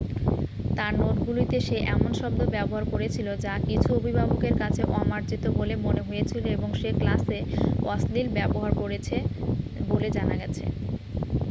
তাঁর নোটগুলিতে সে এমন শব্দ ব্যবহার করেছিল যা কিছু অভিভাবকের কাছে অমার্জিত বলে মনে হয়েছিল এবং সে ক্লাসে অশ্লীল ব্যবহার করেছে বলে জানা গেছে